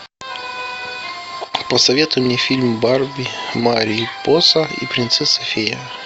посоветуй мне фильм барби марипоса и принцесса фея